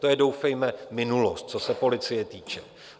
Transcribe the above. To je doufejme minulost, co se policie týče.